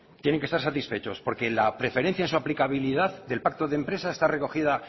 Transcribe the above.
tienen que estar satisfechos porque la preferencia en su aplicabilidad del pacto de empresa está recogida